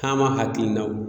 Taama hakilinaw